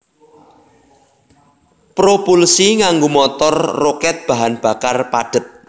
Propulsi nganggo motor rokèt bahan bakar padhet